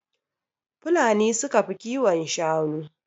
Fulani ne suka fi kiwon shanu.